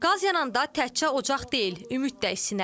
Qaz yananda təkcə ocaq deyil, ümid də isinər.